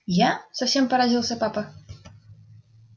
я совсем поразился папа